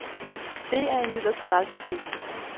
Der er imidlertid aldrig sket.